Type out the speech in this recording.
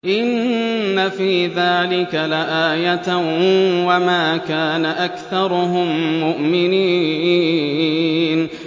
إِنَّ فِي ذَٰلِكَ لَآيَةً ۖ وَمَا كَانَ أَكْثَرُهُم مُّؤْمِنِينَ